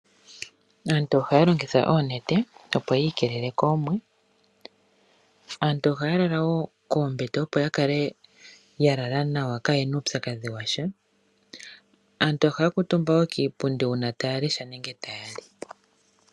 Aantu ohaya longitha oonete opo yi ikeelele koomwe. Aantu ohaya lala woo koombete opo ya kale ya lala nawa ka ye na uupyakadhi washa, aantu ohaya kuutumba woo kiipundi uuna taya lesha nenge taya li.